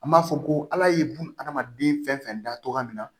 An b'a fɔ ko ala ye buna hadamaden fɛn fɛn da togoya min na